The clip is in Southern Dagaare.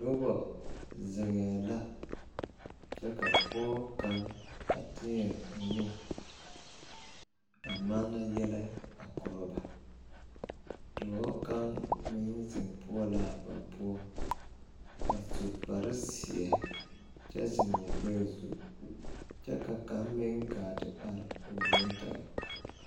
Noba zeŋɛɛ la kyɛ ka pɔge kaŋ a teɛ o nu a manna yɛllɛ a korɔ ba dɔɔ kaŋ meŋ zeŋ poɔ la a ba poɔ a su kparezeɛ kyɛ zeŋ o gbɛɛ zu kyɛ ka kaŋ meŋ gaa te are o yoŋ tɛgɛ.